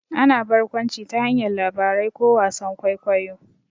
Ana barkwanci ta hanyar labarai ko wasan kwaikwayo.